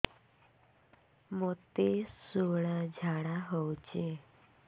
ମୋତେ ଶୂଳା ଝାଡ଼ା ହଉଚି